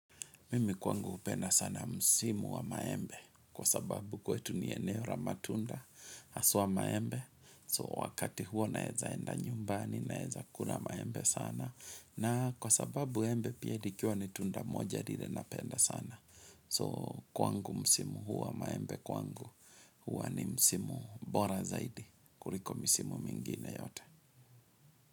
Mimi kwangu hupenda sana msimu wa maembe kwa sababu kwetu ni eneo la matunda haswa maembe so wakati huo naeza enda nyumbani naeza kula maembe sana na kwa sababu embe pia likiwa ni tunda moja lile napenda sana so kwangu msimu huo wa maembe kwangu huwa ni msimu bora zaidi kuliko misimu mingine yote.